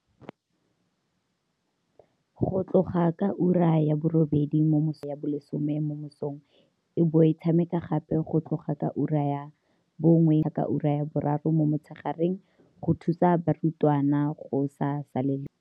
go tloga ka ura ya borobedi mo mosong go fitlha ka ura ya bo lesome mo mosong e bo e tshameka gape go tloga ka ura ya bongwe mo motshegareng go fitlha ka ura ya boraro mo motshegareng go thusa barutwana go se salele morago.